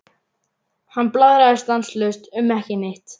Hann blaðraði stanslaust um ekki neitt.